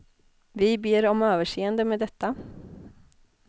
Vi ber om överseende med detta.